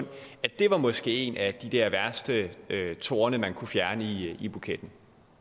var det måske en af de der værste torne man kunne fjerne i buketten